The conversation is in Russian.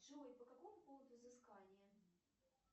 джой по какому поводу взыскание